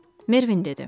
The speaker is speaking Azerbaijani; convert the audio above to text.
Mervin dedi.